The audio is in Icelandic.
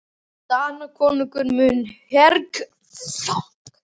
Danakonungur mun mergsjúga ykkur alla áður en yfir lýkur.